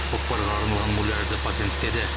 көкпарға арналған муляжды патенттеді